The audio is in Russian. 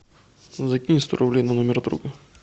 закинь сто рублей на номер друга